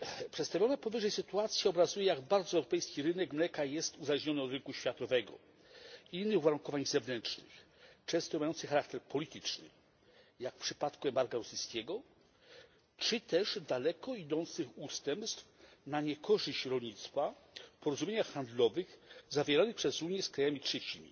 Przedstawiona powyżej sytuacja obrazuje, jak bardzo europejski rynek mleka jest uzależniony od rynku światowego, innych uwarunkowań zewnętrznych, często mających charakter polityczny, jak w przypadku embarga rosyjskiego, czy też daleko idących ustępstw na niekorzyść rolnictwa w porozumieniach handlowych zawieranych przez Unię z krajami trzecimi,